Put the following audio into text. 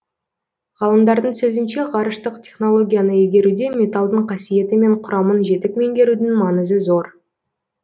ғалымдардың сөзінше ғарыштық технологияны игеруде металдың қасиеті мен құрамын жетік меңгерудің маңызы зор